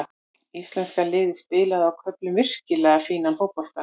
Íslenska liðið spilaði á köflum virkilega fínan fótbolta.